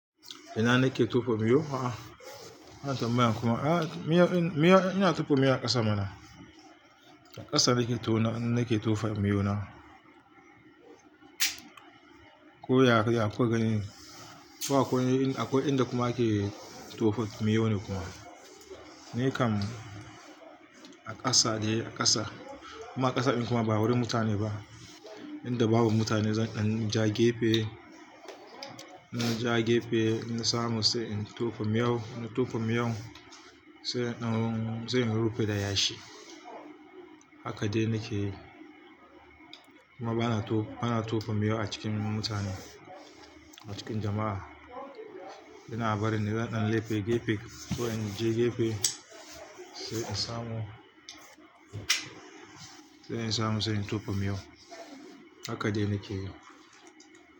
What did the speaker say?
Ina ne ke tofa miyo? A'a, wannan tambayar kuma a, miyau, in, miyau, ina tofa mayau a ƙasa mana. A ƙasa nake to, nake tofa miyau na. Ko ya, kuka gani, ko akwai, akwai inda kuma ake tofa miyau ne kuma. Ni kam a ƙasa ne, a ƙasa. Kuma ƙasa in kuma ba wurin mutane ba. Inda babu mutane zan, in ja gefe, ina ja gefe, in samu sai in tofa miyau, na tofa miyau sai in, sai in rufe da yashi. Haka dai nake yi. Kuma bana to, bana tofa miyau a cikin mutane, a cikin jama'a. Ina barin zan ɗan laɓe gefe ko in je gefe sai in samu, sai in samu sai in tofa miyau. Haka dai nake yi.